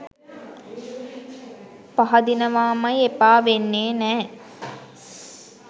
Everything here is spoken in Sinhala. පහදිනවාමයි එපා වෙන්නේ නෑ.